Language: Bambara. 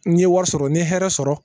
N ye wari sɔrɔ n ye hɛrɛ sɔrɔ